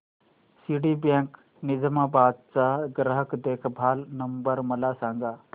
Citibank Nizamabad चा ग्राहक देखभाल नंबर मला सांगा